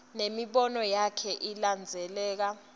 nemibono yakhe ilandzeleka